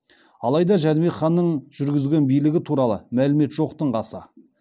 алайда жәнібек ханның жүргізген билігі туралы мәлімет жоқтың қасы